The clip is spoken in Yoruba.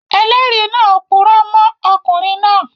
Ẹlẹ́rìí náà purọ́ mọ́ ọkùnrin náà